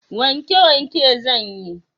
Wanke wanke zanyi